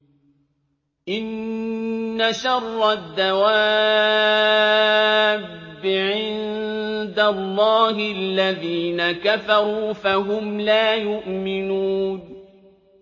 إِنَّ شَرَّ الدَّوَابِّ عِندَ اللَّهِ الَّذِينَ كَفَرُوا فَهُمْ لَا يُؤْمِنُونَ